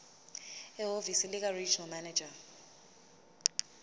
ehhovisi likaregional manager